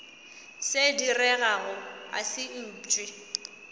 se diregago a se upše